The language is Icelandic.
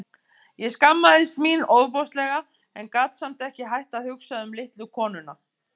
Ég skammaðist mín ofboðslega en gat samt ekki hætt að hugsa um litlu konuna.